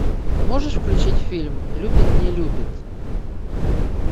можешь включить фильм любит не любит